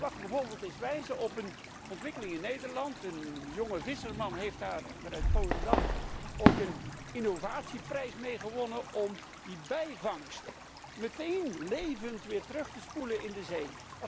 Ik mag bijvoorbeeld eens wijzen op een ontwikkeling in Nederland een jonge visser uit Volendam heeft daar een innovatieprijs mee gewonnen om de bijvangst meteen levend weer terug te spoelen in de zee.